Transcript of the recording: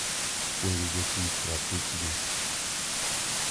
Puonjo jotich ratichgi.